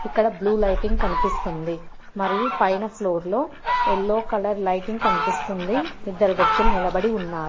ఇక్కడ blue lighting కనిపిస్తుంది మరియు పైన ఫ్లోర్లో ఎల్లో కలర్ లైటింగ్ కనిపిస్తుంది ఇద్దరు వ్యక్తులు నిలబడి ఉన్నారు.